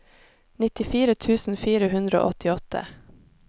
nittifire tusen fire hundre og åttiåtte